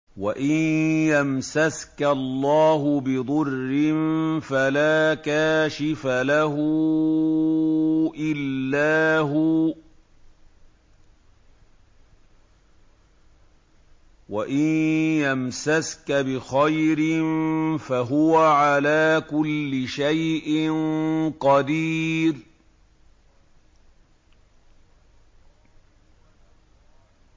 وَإِن يَمْسَسْكَ اللَّهُ بِضُرٍّ فَلَا كَاشِفَ لَهُ إِلَّا هُوَ ۖ وَإِن يَمْسَسْكَ بِخَيْرٍ فَهُوَ عَلَىٰ كُلِّ شَيْءٍ قَدِيرٌ